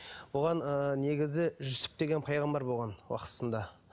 бұған ыыы негізі жүсіп деген пайғамбар болған уақытысында